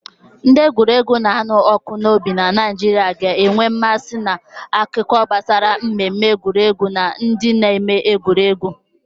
Ndị egwuregwu na-anụ ọkụ n'obi na Naịjirịa ga na-enwe mmasị na akụkọ gbasara mmemme egwuregwu na ndị na-eme egwuregwu.